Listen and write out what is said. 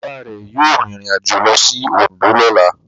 Bàbá rẹ̀ yóò rìnrìnàjò lọ sí Oǹdó lọ́la.